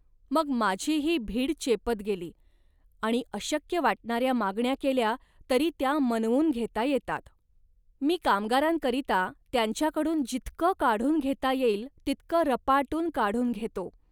मग माझीही भीड चेपत गेली आणि अशक्य वाटणाऱ्या मागण्या केल्या तरी त्या मनवून घेता येतात. मी कामगारांकरिता त्यांच्याकडून जितकं काढून घेता येईल तितकं रपाटून काढून घेतो